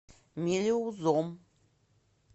мелеузом